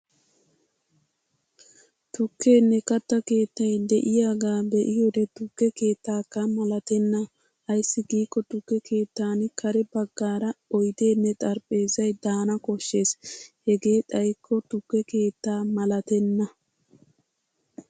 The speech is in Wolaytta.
Tukkenne katta keettay de'iyaagaa be'iyode tukke keettakka malatenna. Ayssi giikko tukke keettan kare baggaara oydenne xarapheezzay daana koshshes hegee xayikko tukke keetta malatenna.